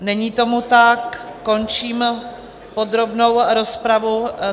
Není tomu tak, končím podrobnou rozpravu.